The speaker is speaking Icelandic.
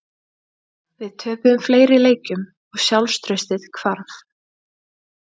Við töpuðum fleiri leikjum og sjálfstraustið hvarf.